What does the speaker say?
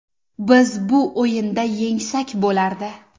Biz bu o‘yinda yengsak bo‘lardi.